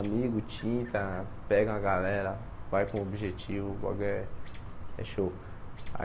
Amigo, tinta, pega uma galera, vai com um objetivo, bagulho é é show.